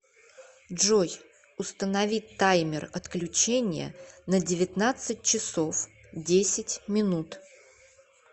джой установи таймер отключения на девятнадцать часов десять минут